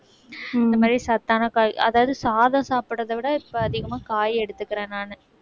இந்த மாதிரி சத்தான காய் அதாவது சாதம் சாப்பிடுறதை விட இப்ப அதிகமா காய் எடுத்துக்கிறேன் நானு